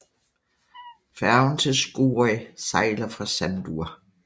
Færgen til Skúvoy sejler fra Sandur